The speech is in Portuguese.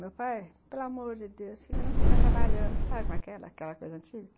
Meu pai, pelo amor de Deus, filha, não fica trabalhando, sabe aquela coisa antiga?